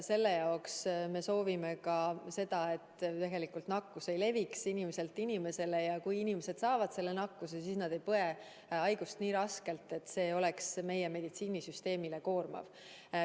Selle võimaldamiseks me soovime seda, et nakkus ei leviks inimeselt inimesele ja et kui inimesed saavadki selle nakkuse, siis nad ei põeks haigust nii raskelt, et see oleks meie meditsiinisüsteemile koormav.